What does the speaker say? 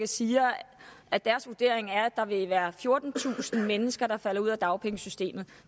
siger at deres vurdering er at der vil være fjortentusind mennesker der falder ud af dagpengesystemet